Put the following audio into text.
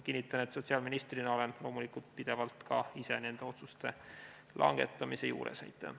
Kinnitan, et sotsiaalministrina olen loomulikult pidevalt ka ise nende otsuste langetamise juures.